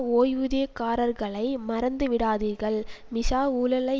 ஒய்வூதியக்காரர்களை மறந்துவிடாதீர்கள் மிஷா ஊழலை